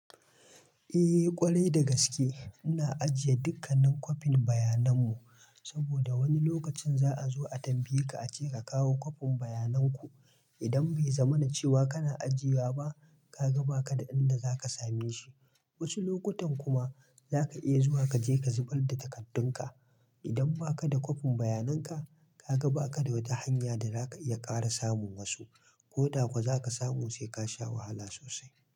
Eh ƙwarai da gaske. Ina ajiye dukkanin kwafin bayanan mu saboda wani lokacin za a zo a tambaye ka ace ka kawo kwafin bayanan ku. Idan bai zama na cewa kana ajiye wa ba ka ga ba ka da inda za ka same shi. Wasu lokutan kuma za ka iya zuwa ka je ka zubar da takardun ka. Idan ba ka da kwafin bayanan ka, ka ga ba ka da wata hanya da za ka iya ƙara samun wasu ko da kuwa za ka samu sai ka sha wahala sosai.